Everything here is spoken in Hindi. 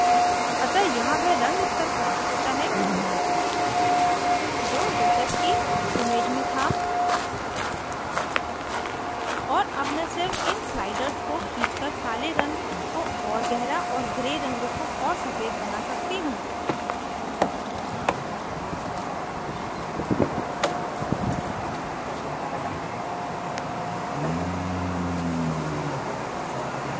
अतः यहाँ वह रंग स्तर प्राप्त होता है जो joseph की image में था और अब मैं सिर्फ इन sliders को खींचकर काले रंग को और गहरा और gray रंग को और सफ़ेद बना सकती हूँ